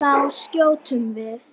Það voru allir edrú.